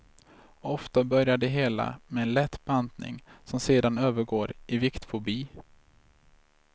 Ofta börjar det hela med en lätt bantning, som sedan övergår i viktfobi.